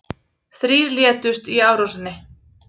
Þrír létust í árásinni